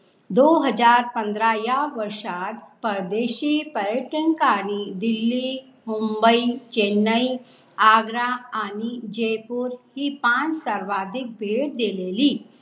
दो हजार पंधरा या वर्षात परदेशी पर्यटकांनी दिल्ली, मुंबई, चेन्नई, आग्रा आणि जयपूर ही पांच सर्वाधिक भेट देलेली